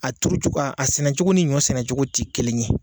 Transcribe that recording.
A turu cogo a sɛnɛ cogo ni ɲɔ sɛnɛ cogo te kelen ye.